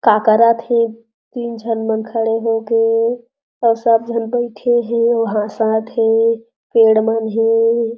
का करत हे तीन झन मन खड़े हो के अउ सब झन बइठे हे अउ हासत हे पेड़ मन हे।